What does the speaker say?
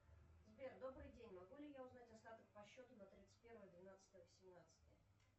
сбер добрый день могу ли я узнать остаток по счету на тридцать первое двенадцатое восемнадцатое